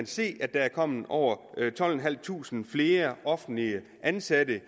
se at der er kommet over tolvtusinde flere offentligt ansatte